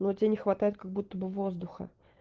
но тебе не хватает как будто бы воздуха